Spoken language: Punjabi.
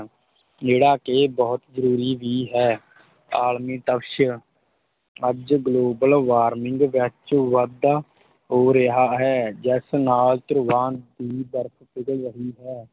ਜਿਹੜਾ ਕਿ ਬਹੁਤ ਜਰੂਰੀ ਵੀ ਹੈ ਆਲਮੀ ਤਪਸ਼ ਅੱਜ global warming ਵਿੱਚ ਵਾਧਾ ਹੋ ਰਿਹਾ ਹੈ, ਜਿਸ ਨਾਲ ਧਰੁਵਾਂ ਦੀ ਬਰਫ ਪਿਘਲ ਰਹੀ ਹੈ।